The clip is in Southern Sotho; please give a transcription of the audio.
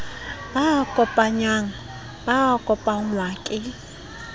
ba kopanyang ba kopangwa ke